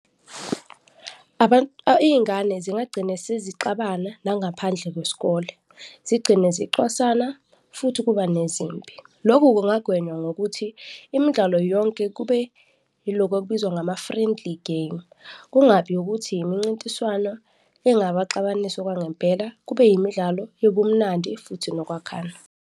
Iy'ngane zingagcine sezixabana nangaphandle kwesikole, zigcine zicwasana futhi kuba nezimpi. Loku kungagwenywa ngokuthi imidlalo yonke kube yiloku okubizwa ngama-friendly game, kungabi ukuthi imincintiswana engabaxabanisa okwangempela, kube yimidlalo yobumnandi futhi nokwakhana.